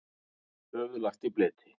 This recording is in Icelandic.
Höfuð lagt í bleyti.